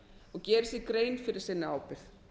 og geri sér grein fyrir sinni ábyrgð